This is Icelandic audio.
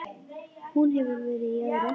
Hún hefur verið í öðru.